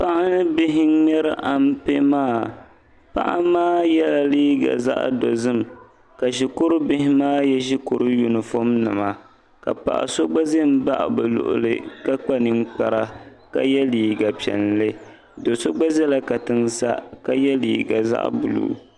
paɣa ni bihi n-ŋmɛri ampe maa paɣa maa yela liiga zaɣ' dozim ka shikuru bihi maa ye shikuru yunifom nima ka paɣ' so gba ʒe baɣi bɛ luɣili ka kpa ninkpara ka ye liiga piɛlli do' so gba ʒela katiŋa sa ka ye liiga zaɣ' buluu.